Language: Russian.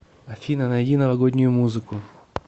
афина найди новогоднюю музыку